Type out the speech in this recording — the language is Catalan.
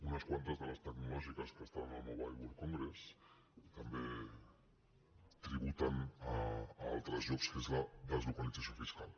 unes quantes de les tecnològiques que estan al mobile world congress també tributen a altres llocs que és la deslocalització fiscal